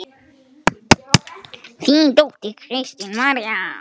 Þín dóttir, Kristín María.